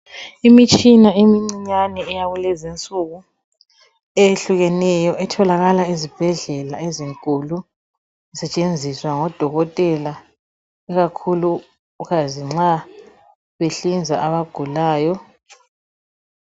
Imitshina emincinyane eyakulezi insuku eyehlukeneyo etholakala ezibhedlela ezinkulu. Isentshenziswa ngodokotela ikakhuluzi nxa behlinza abagulayo.